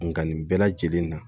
Nga nin bɛɛ lajɛlen na